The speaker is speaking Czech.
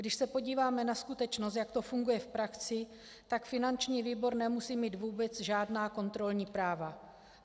Když se podíváme na skutečnost, jak to funguje v praxi, tak finanční výbor nemusí mít vůbec žádná kontrolní práva.